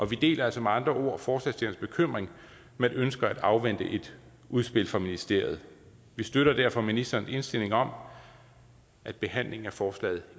vi deler altså med andre ord forslagsstillernes bekymring men ønsker at afvente et udspil fra ministeriet vi støtter derfor ministerens indstilling om at behandlingen af forslaget